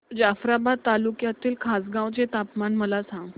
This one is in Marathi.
जाफ्राबाद तालुक्यातील खासगांव चे तापमान मला सांग